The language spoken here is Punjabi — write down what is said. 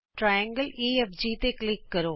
ਤ੍ਰਿਕੋਣ ਓਢਘ ਤੇ ਕਲਿਕ ਕਰੋ